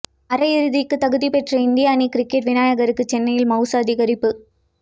அரையிறுதிக்கு தகுதி பெற்ற இந்திய அணி கிரிக்கெட் விநாயகருக்கு சென்னையில் மவுசு அதிகரிப்பு